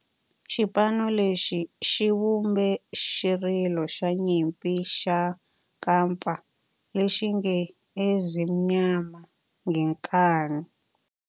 Xipano lexi xi vumbe xirilo xa nyimpi xa kampa lexi nge 'Ezimnyama Ngenkani'.